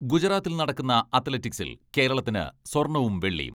ഗുജറാത്തിൽ നടക്കുന്ന അത്ലറ്റിക്സിൽ കേരളത്തിന് സ്വർണ്ണവും വെള്ളിയും.